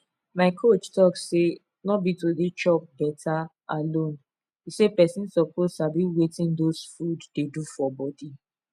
my coach talk say no be to dey chop better alone e say person suppose sabi wetin those food dey do for body